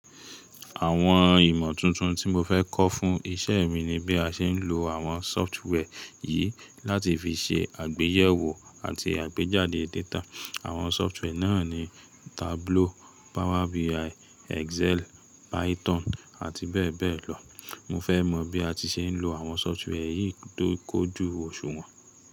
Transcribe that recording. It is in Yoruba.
Àwọn ìmọ̀ tuntun tí mo fẹ́ kọ́ fún iṣẹ́ mi ni bí a ṣe ń lo àwọn software yìí láti fi ṣe àgbéyẹ̀wò àti àgbéjáde data. Àwọn software náà ni Tableau, Power BI, Excel, Python àti bẹ́ẹ̀ bẹ́ẹ̀ lọ. Mo fẹ́ mọ bí a ti ṣe ń lo àwọn software yìí tó kun ojú òṣùwọ̀n.